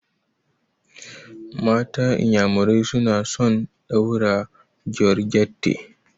Matan iƴamurai suna son ɗaura georgette.